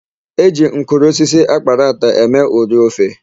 E ji mkụrụ osisi akparata eme ụrị ofe.